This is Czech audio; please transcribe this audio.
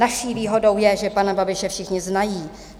Naší výhodou je, že pana Babiše všichni znají."